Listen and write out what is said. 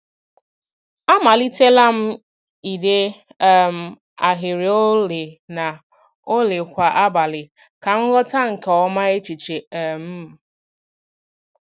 Amalitela m ide um ahịrị ole na ole kwa abalị ka m ghọta nke ọma echiche um m.